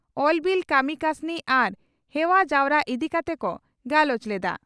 ᱠᱟᱹᱢᱤ ᱠᱟᱹᱥᱱᱤ ᱟᱨ ᱦᱮᱣᱟ ᱡᱟᱣᱨᱟ ᱤᱫᱤ ᱠᱟᱛᱮ ᱠᱚ ᱜᱟᱞᱚᱪ ᱞᱮᱫᱼᱟ ᱾